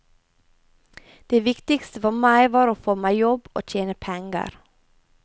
Det viktigste for meg var å få meg jobb og tjene penger.